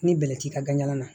Ni bɛlɛ t'i ka ganjala na